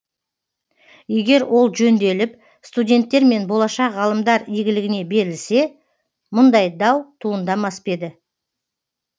егер ол жөнделіп студенттер мен болашақ ғалымдар игілігіне берілсе мұндай дау туындамас па еді